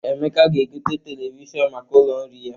Emeka ga-egote televishọn maka ụlọ nri ya.